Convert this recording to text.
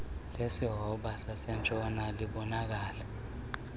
lesihobe sasentshona libonakala